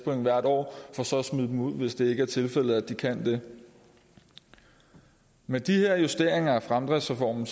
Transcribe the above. point hvert år for så at smide dem ud hvis det ikke er tilfældet at de kan det med de her justeringer af fremdriftsreformen